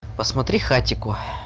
посмотри хатико